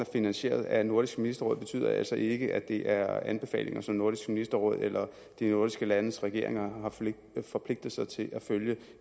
finansieret af nordisk ministerråd betyder altså ikke at det er anbefalinger som nordisk ministerråd eller de nordiske landes regeringer har forpligtet sig til at følge